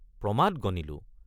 প্ৰমাদ গণিলোঁ।